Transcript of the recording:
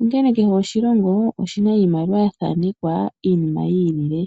onkene kehe oshilongo oshina iimaliwa ya thanekwa iinima yi ili.